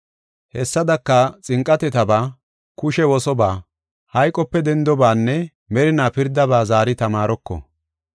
Hessadaka, xinqatetaba, kushe wosobaa, hayqope dendobaanne merina pirdaba zaari tamaaroko.